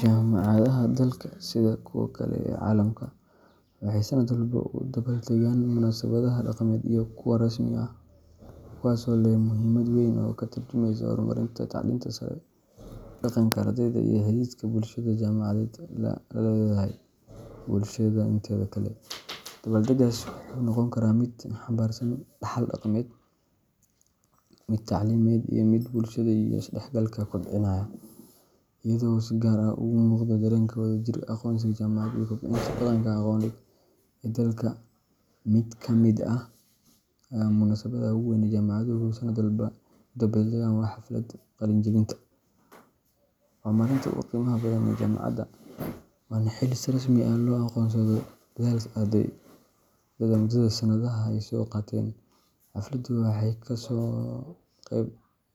Jaamacadaha dalka, sida kuwa kale ee caalamka, waxay sanad walba u dabbaaldegaan munaasabadaha dhaqameed iyo kuwa rasmi ah, kuwaasoo leh muhiimad weyn oo ka tarjumaysa horumarka tacliinta sare, dhaqanka ardayda, iyo xidhiidhka bulshada jaamacadeed la leedahay bulshada inteeda kale. Dabbaaldeggaas wuxuu noqon karaa mid xambaarsan dhaxal dhaqameed, mid tacliimeed ama mid bulshada iyo isdhexgalka kobcinaya, iyadoo uu si gaar ah uga muuqdo dareenka wadajirka, aqoonsiga jaamacadeed, iyo kobcinta dhaqanka aqooneed ee dalka. Mid ka mid ah munaasabadaha ugu weyn ee jaamacaduhu sanad walba u dabbaaldegaan waa Xafladda Qalinjebinta. Waa maalinta ugu qiimaha badan ee jaamacadda, waana xilli si rasmi ah loo aqoonsado dadaalka ardayda muddada sanadaha ah ay soo qaateen. Xafladan waxa ka soo qayb